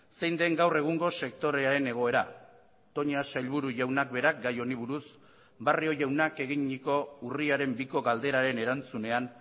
zein den gaur egungo sektorearen egoera toña sailburu jaunak berak gai honi buruz barrio jaunak eginiko urriaren biko galderaren erantzunean